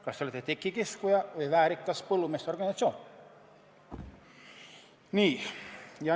Kas te olete tekikiskuja või väärikas põllumeeste organisatsioon?